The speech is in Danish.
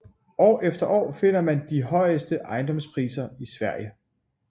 År efter år finder man her de højeste ejendomspriser i Sverige